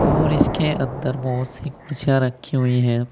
और इसके अंदर बहोत सी कुर्सियां रखी हुई है।